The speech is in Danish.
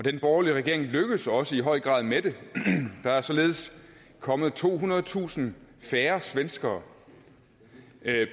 den borgerlige regering lykkedes også i høj grad med det der er således kommet tohundredetusind færre svenskere